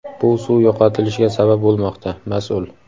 bu suv yo‘qotilishiga sabab bo‘lmoqda – mas’ul.